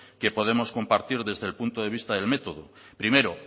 que podemos compartir desde el puesto de vista del método primero